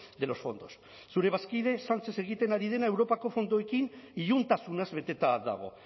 de los fondos zure bazkide sánchez egiten ari dena europako fondoekin iluntasunaz beteta dago